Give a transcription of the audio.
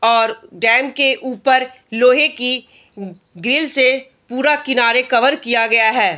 और डैम के ऊपर लोहे की ग्रिल से पूरा किनारे कवर किया गया है।